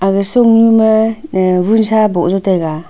aga sung nu ma nga vun sa boh just taega.